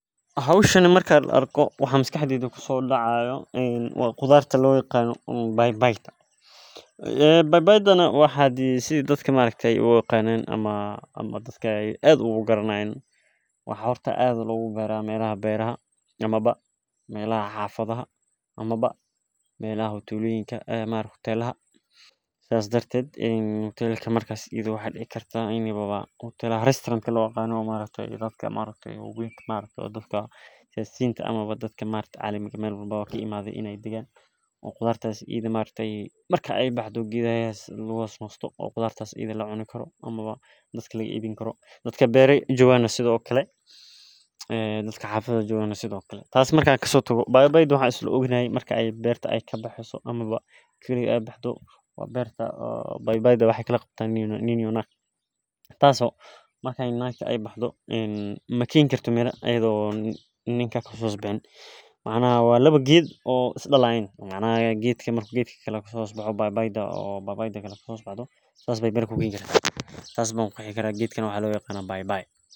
Hoshan marki an arko waa qudharta lo yaqano bai baida waa wax dadka aad ee u yaqanan oo aad loga garanayo beeraha iyo melaha suqa marki ee baxdo waxa lagu xasusto dadka beerta jogan beerta waxee kala qabtaa tas oo ukala baxan nin iyo nag maxaa yele nagta mir mabixini karto nin laantisa sas ayan u arka in bai bai ee tahay oo dadka aad ujecelahay wana muhiim cafimaadka ayey ogu ficantahay.